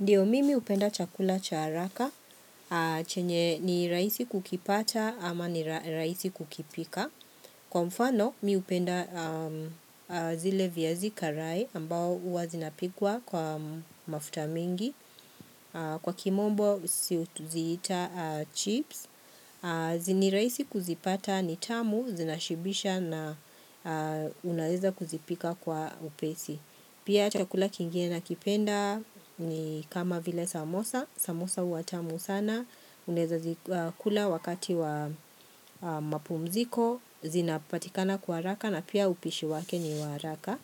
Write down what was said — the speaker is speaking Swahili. Ndiyo mimi hupenda chakula cha hraka, chenye ni rahisi kukipata ama ni rahisi kukipika. Kwa mfano, mimi hupenda zile viazi karai ambao huwa zinapikwa kwa mafuta mingi. Kwa kimombo, ziita chips. Ni rahisi kuzipata ni tamu, zinashibisha na unaweza kuzipika kwa upesi. Pia chakula kingine nakipenda ni kama vile samosa, samosa huwatamu sana, unaeza zikula wakati wa mapumziko, zinapatikana kwa haraka na pia upishi wake ni wa haraka.